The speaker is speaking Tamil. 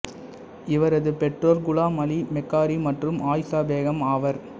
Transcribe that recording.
இவரது பெற்றோர் குலாம் அலி மெக்காரி மற்றும் ஆயிசா பேகம் ஆவர்